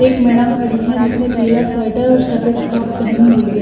एक मैडम खड़ी है जिसने पीला स्वेटर और सफेद फ्रॉक पहेनी हुई--